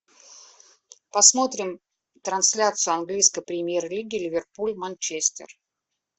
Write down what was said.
посмотрим трансляцию английской премьер лиги ливерпуль манчестер